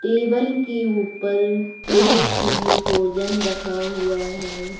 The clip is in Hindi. टेबल के ऊपर प्लेट में भोजन रखा हुआ है।